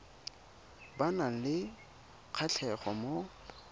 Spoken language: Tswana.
ba nang le kgatlhego mo